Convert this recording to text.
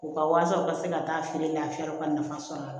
U ka walasa u ka se ka taa feere lafiya u ka nafa sɔrɔ a la